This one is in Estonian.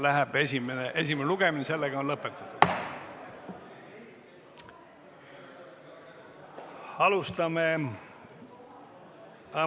Esimene lugemine on lõppenud.